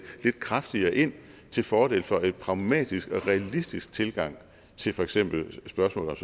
lidt kraftigere ind til fordel for en pragmatisk og realistisk tilgang til for eksempel spørgsmålet